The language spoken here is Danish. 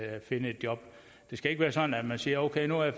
at finde et job det skal ikke være sådan at man siger okay nu er